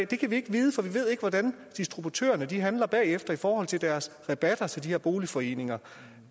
det kan vi ikke vide for vi ved ikke hvordan distributørerne handler bagefter i forhold til deres rabatter til de her boligforeninger